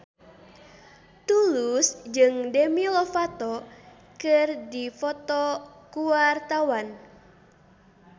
Tulus jeung Demi Lovato keur dipoto ku wartawan